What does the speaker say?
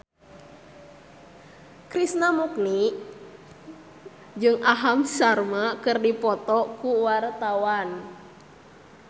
Krishna Mukti jeung Aham Sharma keur dipoto ku wartawan